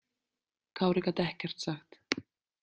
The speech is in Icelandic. Kári gat ekkert sagt.